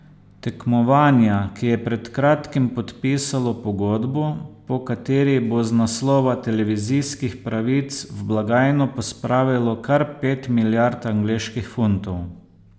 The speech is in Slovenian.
Tekmovanja, ki je pred kratkim podpisalo pogodbo, po kateri bo z naslova televizijskih pravic v blagajno pospravilo kar pet milijard angleških funtov.